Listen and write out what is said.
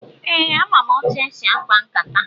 Ee, ama m etu esi akpa nkata.